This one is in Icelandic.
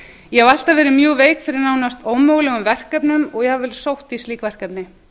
ég hef alltaf verið mjög veik fyrir nánast ómögulegum verkefnum og jafnvel sótt í slík verkefni